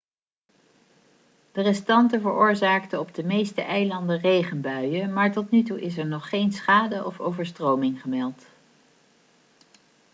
de restanten veroorzaakten op de meeste eilanden regenbuien maar tot nu toe is er nog geen schade of overstroming gemeld